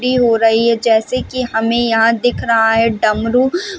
free हो रही है जैसे की हमे यहाँ दिख रहा है डमरू --